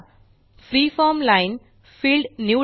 freeform line field निवडा